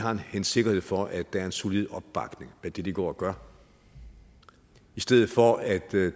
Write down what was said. en sikkerhed for at der er en solid opbakning til det de går og gør i stedet for at